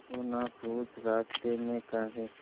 तू ना पूछ रास्तें में काहे